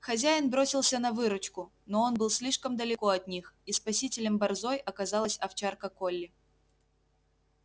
хозяин бросился на выручку но он был слишком далеко от них и спасителем борзой оказалась овчарка колли